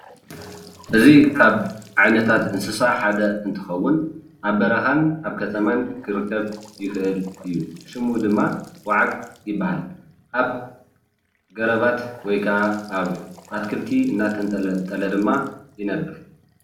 እዚ ካብ ዓይነታት እንስሳ ሓደ እንትከውን ኣብ በረካን ኣብ ከተማን ክርከብ ይክእል እዩ፣ ሽሙ ድማ ዋዓግ ይባሃል፣ ኣብ ገረባት ወይ ክዓ ኣብ ኣትክልቲ እናተንጠልጠለ ድማ ይነብር፡፡